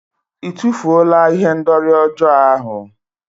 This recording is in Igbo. Ị tụfuola ihendori ọjọọ ahụ?